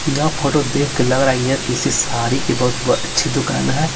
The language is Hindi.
यह फोटो देख के लग रहा है यह किसी साड़ी की बहुत अच्छी दुकान है।